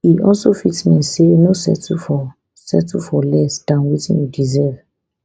e also fit mean say no settle for settle for less dan wetin you deserve